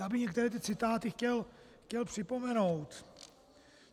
Já bych některé ty citáty chtěl připomenout.